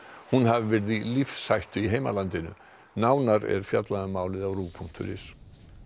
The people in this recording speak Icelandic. hún hafi verið í lífshættu í heimalandinu nánar er fjallað um málið á punktur is